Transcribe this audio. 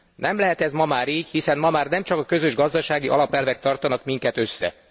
Nem lehet ez ma már így, hiszen ma már nemcsak a közös gazdasági alapelvek tartanak minket össze.